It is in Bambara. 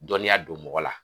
Dɔnniya don mɔgɔ la